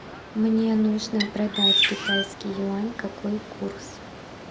мне нужно продать китайский юань какой курс